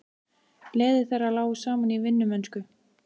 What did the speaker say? Leiðir þeirra lágu saman í vinnumennsku.